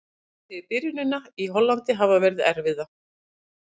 Hann segir byrjunina í Hollandi hafa verið erfiða.